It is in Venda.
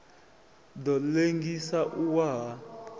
ḓo ḽengisa u wa ha